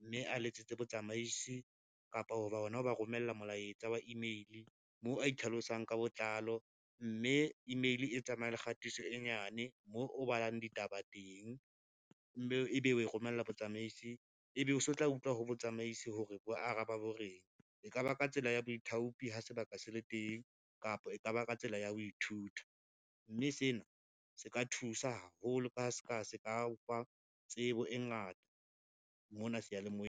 mme a letsetse botsamaisi kapa ho ba hona ho ba romella molaetsa wa email moo a itlhalosang ka botlalo, mme email e tsamaya le kgatiso e nyane moo o balang ditaba teng, mme ebe o e romella botsamaisi ebe o so tla utlwa ho botsamaisi hore bo araba bo reng, e ka ba ka tsela ya baithaupi ha sebaka se le teng, kapa e ka ba ka tsela ya ho ithuta. Mme sena se ka thusa haholo ka ha ska se ka ofa tsebo e ngata mona seyalemoyeng.